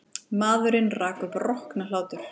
Maðurinn rak upp rokna hlátur.